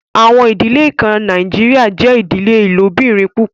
Àwọn idílẹ̀ kàn Nàìjíríà jẹ idílẹ̀ ilòbìrín púpọ̀